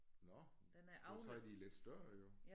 Nåh men så er de lidt større jo